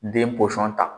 Den pɔsɔn ta